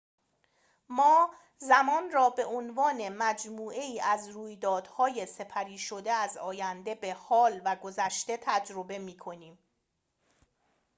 ما زمان را به عنوان مجموعه‌ای از رویدادهای سپری شده از آینده به حال و گذشته تجربه می‌کنیم